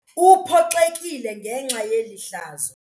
Uphoxekile ngenxa yeli hlazo.